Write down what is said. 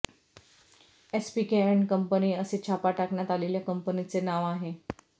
SPK and company असे छापा टाकण्यात आलेल्या कंपनीचे नाव आहे